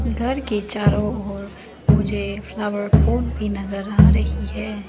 घर के चारों ओर मुझे फ्लावर पोट भी नजर आ रही है।